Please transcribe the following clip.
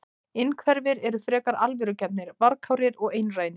Innhverfir eru frekar alvörugefnir, varkárir og einrænir.